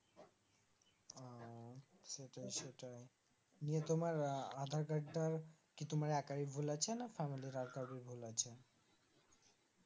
নিয়ে তোমার আধার কার্ড টা কি একারই ভুল আছে না Family আরো কারো ভুল আছে